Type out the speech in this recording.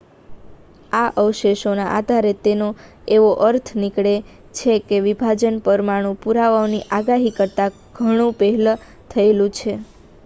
આ અવશેષોના આધારે એવો અર્થ નીકળે છે કે આ વિભાજન પરમાણુ પુરાવાઓની આગાહી કરતા ઘણું પહેલા થયેલું છે